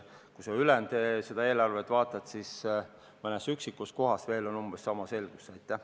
Kui sa ülejäänud eelarvet vaatad, siis ainult mõnes üksikus kohas on veel umbes samasugust selgust näha.